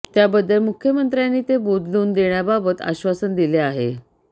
त्याबद्दल मुख्यमंत्र्यांनी ते बोदलून देण्याबाबत आश्वासन दिले आहे